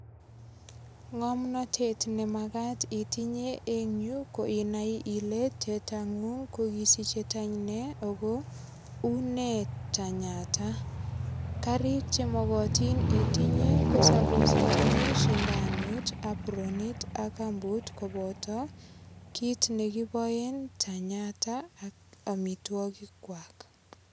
Ng'omnotet nemakat itinye eng yu ko inai ile tetangung kokisiche tany ne ako une tanyata karik chemokotin itinye ko sapos itinye sindanot ak apronit ak kambut koboto kiit nekiboen tanyata ak omitwokik kwak.